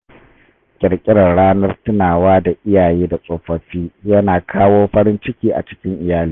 Kirkirar ranar tunawa da iyaye da tsofaffi ya na kawo farin ciki a cikin iyali.